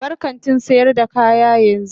Bar kantin sayar da kaya yanzu.